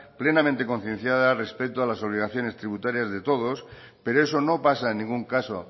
plenamente concienciada respecto a las obligaciones tributarias de todos pero eso no pasa en ningún caso